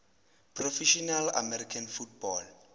professional american football